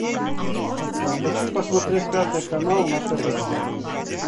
хочу посмотреть пятый канал на тв